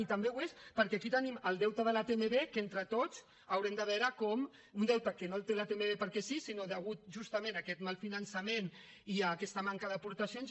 i també ho és perquè aquí tenim el deute de la tmb que entre tots haurem de veure com un deute que no el té la tmb perquè sí sinó degut justament a aquest mal finançament i a aquesta manca d’aportacions